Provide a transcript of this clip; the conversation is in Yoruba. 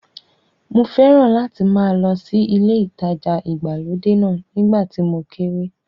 Mo fẹ́ràn láti máa lọ sí ilé ìtajà ìgbàlódé náà nígbà tí mo kéré.